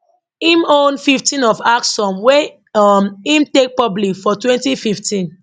im own 15 of axsome wey um im take public for 2015